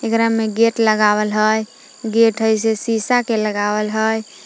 एकरा में गेट लगावल हइ गेट हइ से शीशा के लगावल हइ।